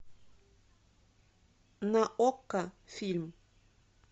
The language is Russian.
на окко фильм